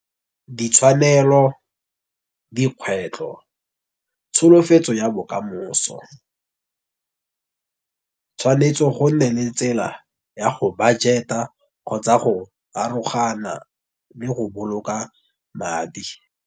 Ditshwanelo, dikgwetlho, tsholofetso ya bokamoso. Tshwanetse gonne le tsela ya go budget-a kgotsa go arogana le go boloka madi.